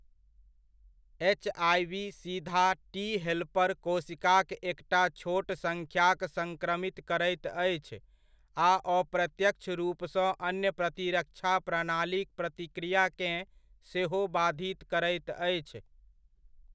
HIV सीधा T helper कोशिकाक एकटा छोट सङ्ख्याक संक्रमित करैत अछि, आ अप्रत्यक्ष रूपसँ अन्य प्रतिरक्षा प्रणालीक प्रतिक्रियाकेँ सेहो बाधित करैत अछि।